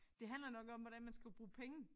Det handler nok om hvordan man skal bruge penge